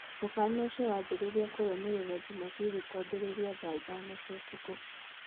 Mũkana ũcio wambirie kũrũmĩrĩrwo Jumabiri kũambĩrĩria thaa ithano cia ũtukũ.